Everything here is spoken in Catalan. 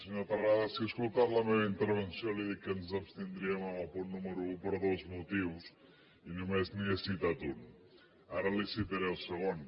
senyor terrades si ha escoltat la meva intervenció li he dit que ens abstindríem en el punt número un per dos motius i només n’hi he citat un ara li citaré el segon